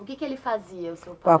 O que que ele fazia, o seu pai?